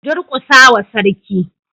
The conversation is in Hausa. Ku durƙusa wa Sarki.